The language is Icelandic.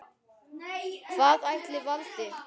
Hvað ætli valdi?